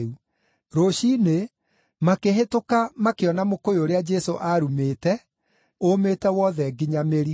Rũciinĩ, makĩhĩtũka makĩona mũkũyũ ũrĩa Jesũ aarumĩĩte ũũmĩte wothe nginya mĩri.